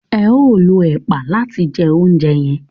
eo ló ẹpa làti jẹ ounjẹ yen.